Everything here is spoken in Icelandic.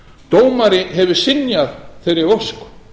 dómari hefur synjað þeirri ósk